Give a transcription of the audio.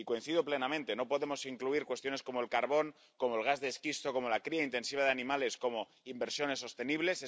Y coincido plenamente no podemos incluir cuestiones como el carbón, como el gas de esquisto, como la cría intensiva de animales como inversiones sostenibles.